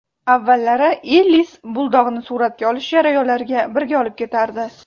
Avvallari Ellis buldogni suratga olish jarayonlariga birga olib ketardi.